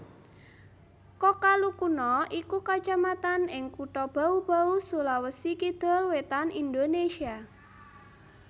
Kokalukuna iku kacamatan ing Kutha Bau Bau Sulawesi Kidul Wétan Indonesia